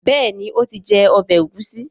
béèni o tí jé ọbẹ Egusi.